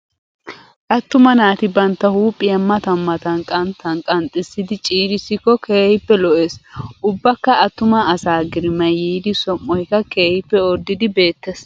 Attuma naati bantta huuphphiyaa matan matan qanttan qanxxisidi ciirissikko keehippe lo'es. Ubbakka attuma asaa girimaayi yiidi som"oyikka keehippe orddidi beettes.